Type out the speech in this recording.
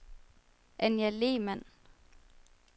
Anja Lehmann